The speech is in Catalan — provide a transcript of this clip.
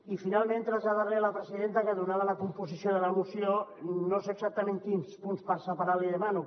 i finalment traslladar li a la presidenta que donada la composició de la moció no sé exactament quins punts per separar li demano